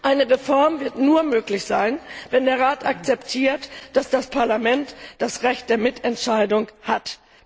Eine Reform wird nur möglich sein, wenn der Rat akzeptiert, dass das Parlament das Recht der Mitentscheidung